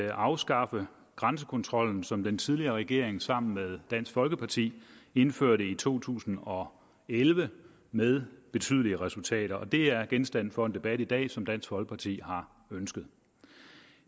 at afskaffe grænsekontrollen som den tidligere regering sammen med dansk folkeparti indførte i to tusind og elleve med betydelige resultater og det er genstand for en debat i dag som dansk folkeparti har ønsket